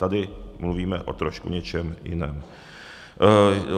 Tady mluvíme o trošku něčem jiném.